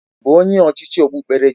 Ị bụ onye ọchịchị okpukperechi?